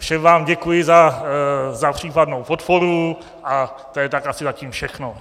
Všem vám děkuji za případnou podporu a to je tak asi zatím všechno.